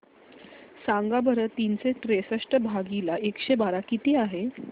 सांगा बरं तीनशे त्रेसष्ट भागीला एकशे बारा किती आहे